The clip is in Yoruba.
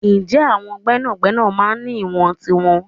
Ǹjẹ́ àwọn gbẹ́nàgbẹ́nà máa ń ní ìwọ̀n tiwọn?